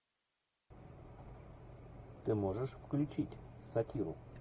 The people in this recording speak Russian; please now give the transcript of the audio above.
ты можешь включить сатиру